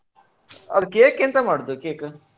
ಆದ್ರೆ cake ಎಂತ ಮಾಡುದು cake ?